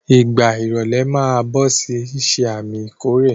Ìgbà ìrọ̀lẹ̀ máa ń bọ̀ ó sì ń ṣe àmì ìkórè.